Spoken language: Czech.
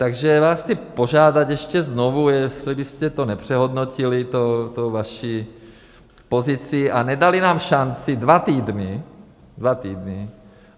Takže vás chci požádat ještě znovu, jestli byste to nepřehodnotili, tu vaši pozici, a nedali nám šanci dva týdny, dva týdny.